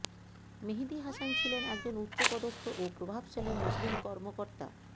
মেহেদী হাসান ছিলেন একজন উচ্চপদস্থ ও প্রভাবশালী মুসলিম কর্মকর্তা